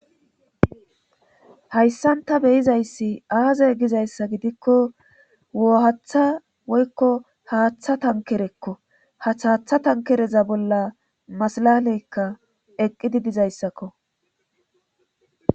Hayssan ta beyizayssi aazay gizayssa gidikko woohaththa woykko haaththa tankerekko hath haaththa tankereza bolla masalaleykka eqqidi dizayssakko.